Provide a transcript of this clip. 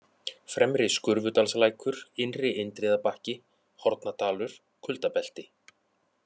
Fremri-Skurfudalslækur, Innri-Indriðabakki, Hornadalur, Kuldabelti